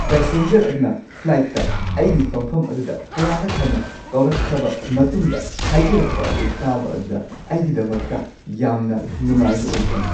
Passenger ꯑꯗꯨꯅ ꯐ꯭ꯂꯥꯏꯠꯇ ꯑꯩꯒꯤ ꯐꯝꯐꯝ ꯑꯗꯨꯗ ꯀꯌꯥꯔꯛ ꯍꯟꯅ ꯀꯥꯎꯔꯛꯈ꯭ꯔꯕ ꯃꯇꯨꯡꯗ ꯍꯥꯏꯖꯔꯛꯄ ꯑꯗꯨ ꯇꯥꯕ ꯑꯗꯨꯗ ꯑꯩꯒꯤꯗꯃꯛꯇ ꯌꯥꯝꯅ ꯅꯨꯡꯉꯥꯏꯕ ꯑꯣꯏꯈꯤ꯫